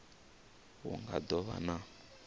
hu nga do vha na